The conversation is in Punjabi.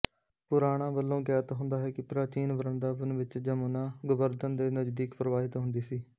ਪੁਰਾਣਾਂ ਵਲੋਂ ਗਿਆਤ ਹੁੰਦਾ ਹੈ ਪ੍ਰਾਚੀਨ ਵ੍ਰੰਦਾਬਨ ਵਿੱਚ ਜਮੁਨਾ ਗੋਬਰਧਨ ਦੇ ਨਜ਼ਦੀਕ ਪ੍ਰਵਾਹਿਤ ਹੁੰਦੀ ਸੀ